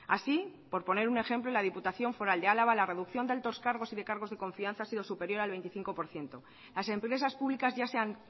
así por poner un ejemplo en la diputación foral de álava la reducción de altos cargos y de cargos de confianza ha sido superior al veinticinco por ciento las empresas públicas ya se han